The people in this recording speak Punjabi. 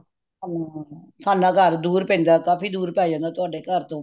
ਹੁੰਮ ਸਾਡਾ ਘਰ ਦੂਰ ਪੈਂਦਾ ਕਾਫੀ ਦੂਰ ਪੈ ਜਾਂਦਾ ਤੁਹਾਡੇ ਘਰ ਤੋਂ